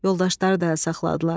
Yoldaşları da əl saxladılar.